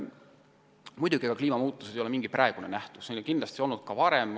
Muidugi ei ole kliimamuutused üksnes praegusaja nähtus, neid on kahtlemata olnud ka varem.